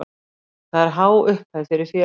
Það er há upphæð fyrir félagið.